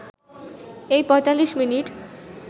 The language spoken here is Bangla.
এই ৪৫ মিনিট